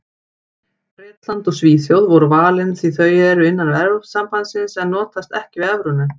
Bretland og Svíþjóð voru valin því þau eru innan Evrópusambandsins en notast ekki við evruna.